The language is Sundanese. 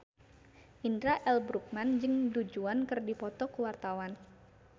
Indra L. Bruggman jeung Du Juan keur dipoto ku wartawan